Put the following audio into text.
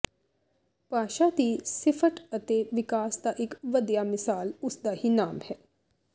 ਭਾਸ਼ਾ ਦੀ ਸ਼ਿਫਟ ਅਤੇ ਵਿਕਾਸ ਦਾ ਇਕ ਵਧੀਆ ਮਿਸਾਲ ਉਸਦਾ ਹੀ ਨਾਮ ਹੈ